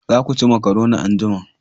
Za ku ci makaroni anjima